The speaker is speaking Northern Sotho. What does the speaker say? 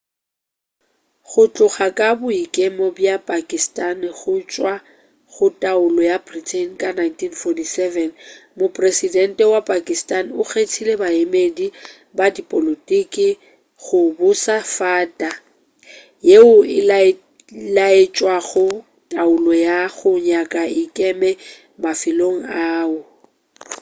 go tloga ka boikemo bja pakistani go tšwa go taolo ya britain ka 1947 mopresedente wa pakistani o kgethile baemedi ba dipolotiki go buša fata yeo e laetšago taolo ya go nyaka e ikeme mafelong ao